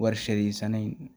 warshadesnen.